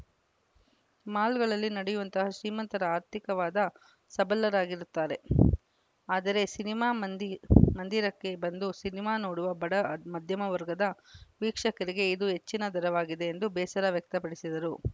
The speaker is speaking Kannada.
ಮಾಲ್‌ಗಳಲ್ಲಿ ನಡೆಯುವಂತಹ ಶ್ರೀಮಂತರ ಆರ್ಥಿಕವಾದ ಸಬಲರಾಗಿರುತ್ತಾರೆ ಆದರೆ ಸಿನಿಮಾ ಮಂದಿ ಮಂದಿರಕ್ಕೆ ಬಂದು ಸಿನಿಮಾ ನೋಡುವ ಬಡ ಮಧ್ಯಮ ವರ್ಗದ ವೀಕ್ಷಕರಿಗೆ ಇದು ಹೆಚ್ಚಿನ ದರವಾಗಿದೆ ಎಂದು ಬೇಸರ ವ್ಯಕ್ತಪಡಿಸಿದರು